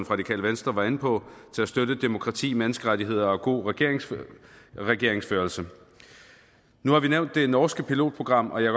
radikale venstre var inde på afsat til at støtte demokrati menneskerettigheder og god regeringsførelse regeringsførelse nu har vi nævnt det norske pilotprogram og jeg